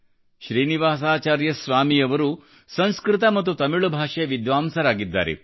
ಶ್ರೀನಿವಾಸಾಚಾರ್ಯ ಸ್ವಾಮಿ ಅವರು ಸಂಸ್ಕೃತ ಮತ್ತು ತಮಿಳ್ ಭಾಷೆಯ ವಿದ್ವಾಂಸರಾಗಿದ್ದಾರೆ